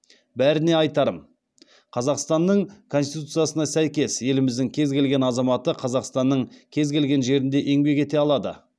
бәріне айтарым қазақстанның конституциясына сәйкес еліміздің кез келген азаматы қазақстанның кез келген жерінде еңбек ете алады